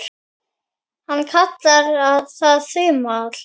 Hann kallaði það Þumal